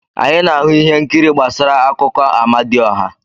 Anyị na-ahụ ihe nkiri gbasara akụkọ Amadioha.